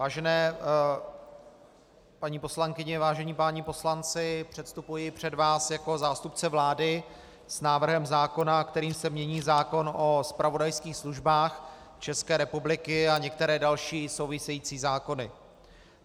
Vážené paní poslankyně, vážení páni poslanci, předstupuji před vás jako zástupce vlády s návrhem zákona, kterým se mění zákon o zpravodajských službách České republiky a některé další související zákony.